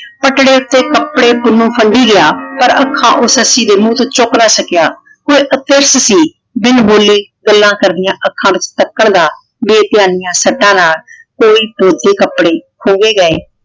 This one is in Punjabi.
ਪਟੜੇ ਉੱਤੇ ਕੱਪੜੇ ਪੁੰਨੂੰ ਫੰਡੀ ਗਿਆ ਪਰ ਅੱਖਾਂ ਉਹ ਸੱਸੀ ਦੇ ਮੂੰਹ ਤੋਂ ਚੁੱਕ ਨਾ ਸਕਿਆ। ਫੇਰ ਅੱਤੇ ਬਿਨ ਬੋਲੇ ਗੱਲਾਂ ਕਰਦੀਆਂ ਅੱਖਾਂ ਵਿੱਚ ਤੱਕਣ ਦਾ ਬੇਧਿਆਨੀ ਸੱਟਾਂ ਨਾਲ ਕੋਈ ਤੋਲ ਕੇ ਕੱਪੜੇ ਖੁੰਘੇ ਗਏ।